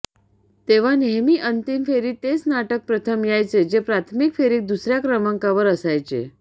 तेव्हा नेहमी अंतिम फेरीत तेच नाटक प्रथम यायचे जे प्राथमिक फेरीत दुसऱ्या क्रमांकावर असायचे